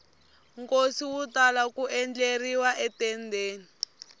nkosi wu tala ku endleriwa etendeni